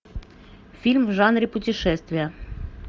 фильм в жанре путешествия